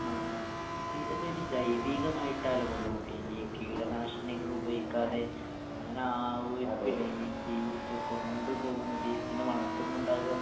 ആ ആ അപ്പൊ ഇതൊക്കെ ഒരു ജൈവീകമായിട്ടല്ലെ കൊണ്ടോണേ ഈ കീടനാശിനികളുപയോഗിക്കാതെ അങ്ങനെ ആവോയിരിക്കുംലെ ഈ ഇത് കൊണ്ട് പോകുന്നത് ഇതിന് വളർത്തുന്നുണ്ടാവാ.